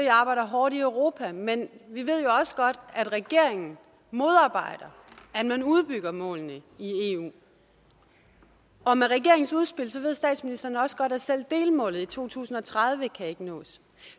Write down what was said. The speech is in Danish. arbejder hårdt i europa men vi ved jo også godt at regeringen modarbejder at man udbygger målene i eu og med regeringens udspil ved statsministeren også godt at selv delmålet i to tusind og tredive ikke kan nås